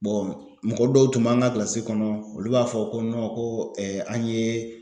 Bɔn mɔgɔ dɔw tun b'an ka kilasi kɔnɔ olu b'a fɔ ko nɔn ko ɛɛ an yee